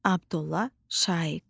Abdulla Şaiq.